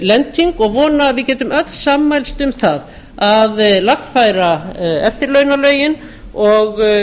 lending og vona að við getum öll sammælst um það að lagfæra eftirlaunalögin og